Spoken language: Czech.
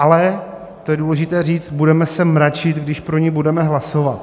Ale, to je důležité říct: Budeme se mračit, když pro ni budeme hlasovat.